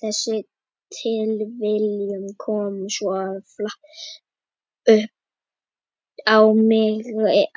Þessi tilviljun kom svo flatt upp á mig